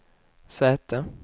säte